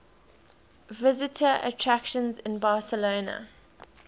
visitor attractions in barcelona